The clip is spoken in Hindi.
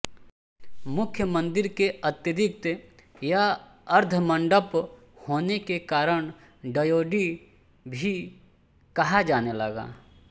मुख्य मंदिर के अतिरिक्त यह अर्धमंडप होने के कारण ड्योढ़ी भी कहा जाने लगा